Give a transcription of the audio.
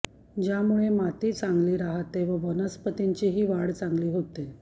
ज्यामुळे माती चांगली राहते व वनस्पतींची वाढही चांगली होते